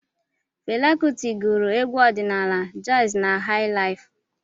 Fela Kuti gụrụ egwu ọdịnaala, jazi na hai laif.